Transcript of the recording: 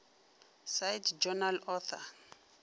cite journal author